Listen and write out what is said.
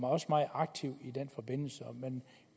også meget aktiv